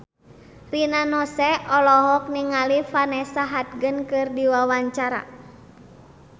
Rina Nose olohok ningali Vanessa Hudgens keur diwawancara